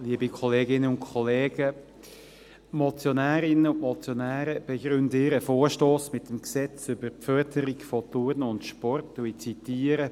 Die Motionärinnen und Motionäre begründen ihren Vorstoss mit dem Gesetz über die Förderung von Turnen und Sport, ich zitiere: